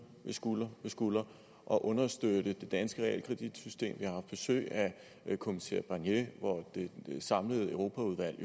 skulder ved skulder og understøtte det danske realkreditsystem vi har haft besøg af kommissær barnier hvor det samlede europaudvalg